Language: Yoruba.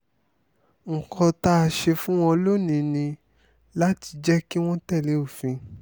nǹkan tá a ṣe fún wọn lónìí ni láti jẹ́ kí wọ́n tẹ̀lé òfin